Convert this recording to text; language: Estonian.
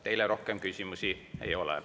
Teile rohkem küsimusi ei ole.